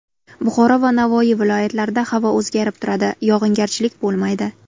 Buxoro va Navoiy viloyatlarida havo o‘zgarib turadi, yog‘ingarchilik bo‘lmaydi.